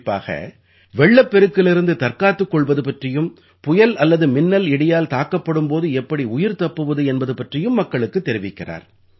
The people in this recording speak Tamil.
குறிப்பாக வெள்ளப்பெருக்கிலிருந்து தற்காத்துக் கொள்வது பற்றியும் புயல் அல்லது மின்னல்இடியால் தாக்கப்படும் போது எப்படி உயிர் தப்புவது என்பது பற்றியும் மக்களுக்குத் தெரிவிக்கிறார்